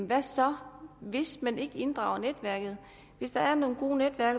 hvad så hvis man ikke inddrager netværket hvis der er nogle gode netværk